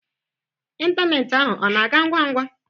Ịntanetị ahu ọ na ga ngwa ngwa?